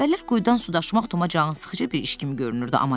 Əvvəllər quyudan su daşımaq Toma cansıxıcı bir iş kimi görünürdü.